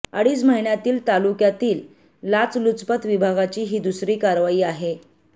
अडीच महिन्यांतील तालुक्यातील लाचलुचपत विभागाची ही दुसरी कारवाई आहे